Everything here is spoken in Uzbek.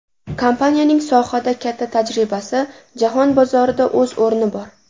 Kompaniyaning sohada katta tajribasi, jahon bozorida o‘z o‘rni bor.